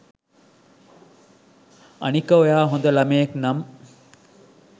අනික ඔයා හොද ළමයෙක් නම්